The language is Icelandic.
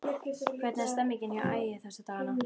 Hvernig er stemningin hjá Ægi þessa dagana?